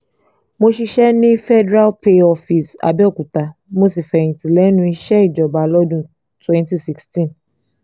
mo ṣiṣẹ́ ní federal pay office abẹ́òkuta mo sì fẹ̀yìntì lẹ́nu iṣẹ́ ìjọba lọ́dún twenty sixteen